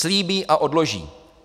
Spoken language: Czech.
Slíbí a odloží.